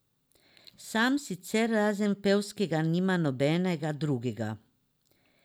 Sam sicer razen pevskega nima nobenega drugega.